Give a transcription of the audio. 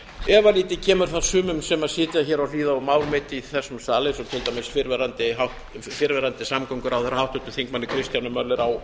efalítið kemur það sumum sem sitja hér og hlýða á mál mitt eins og til dæmis fyrrverandi samgönguráðherra háttvirtum þingmanni kristjáni möller á